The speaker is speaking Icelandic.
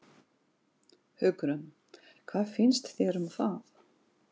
Hugrún: Hvað finnst þér um það?